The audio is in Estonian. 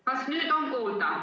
Kas nüüd on kuulda?